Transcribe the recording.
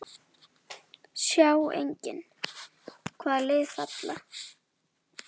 Sjá einnig: Hvaða lið falla?